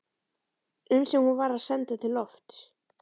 um sem hún var að senda til lofts.